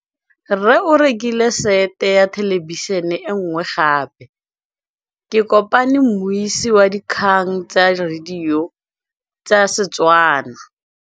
Rre o rekile sete ya thêlêbišênê e nngwe gape. Ke kopane mmuisi w dikgang tsa radio tsa Setswana.